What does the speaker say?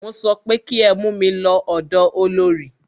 Mo sọ pé kí ẹ mú mí lọ ọ̀dọ olorì!